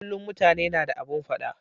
Kullun mutane na da abun fada